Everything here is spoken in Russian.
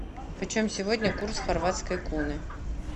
почем сегодня курс хорватской куны